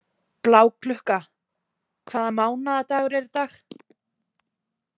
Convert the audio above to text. Bláklukka, hvaða mánaðardagur er í dag?